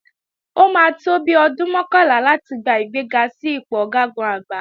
Ó máa tó bi ọdún mọ́kànlá láti gba ìgbéga sí ipò Ọ̀gágun-Àgbá